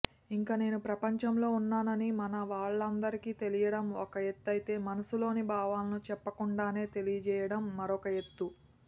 ఇంకా నేను ప్రపంచంలో ఉన్నానని మన వాళ్లందరికీ తెలియడం ఒక ఎత్తయితే మనసులోని భావాలను చెప్పకుండానే తెలియజేయడం మరొక ఎత్తు